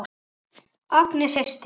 Agnes systir.